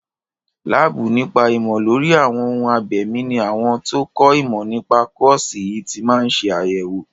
Láàbù nípa ìmọ̀ lórí àwọn ohun abẹ̀mí ní àwọn tó kọ́ ìmọ̀ nípa kọ́ọ̀sì yìí ti máa ń ṣe àyẹ̀wò.